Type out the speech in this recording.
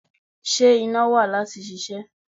Ṣé iná wà láti ṣiṣẹ́?